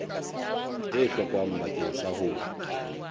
e hlokang bakeng sa ho